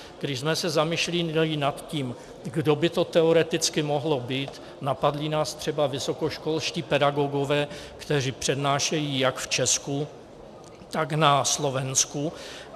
Když jsme se zamýšleli nad tím, kdo by to teoreticky mohl být, napadli nás třeba vysokoškolští pedagogové, kteří přednášejí jak v Česku, tak na Slovensku.